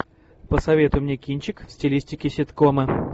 посоветуй мне кинчик в стилистике ситкома